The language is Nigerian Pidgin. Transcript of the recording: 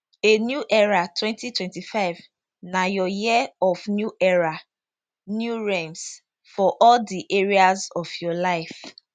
a new era 2025 na your year of new era new realms for all di areas of your life